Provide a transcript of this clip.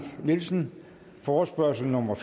nielsen forespørgsel nummer